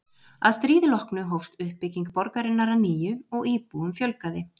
Að stríði loknu hófst uppbygging borgarinnar að nýju og íbúum fjölgaði.